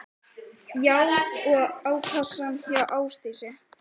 Andri: Já og á kassann hjá Ásdísi?